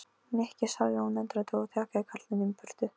Nikki sagði hún undrandi og stjakaði karlinum í burtu.